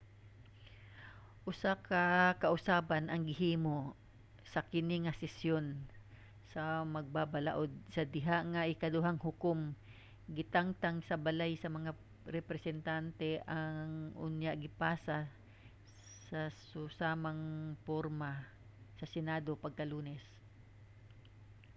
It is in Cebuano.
usa ka kausaban ang gihimo sa kini nga sesyon sa magbabalaod sa diha nga ang ikaduhang hukom gitangtang sa balay sa mga representante ug unya gipasa sa susamang porma sa senado pagka-lunes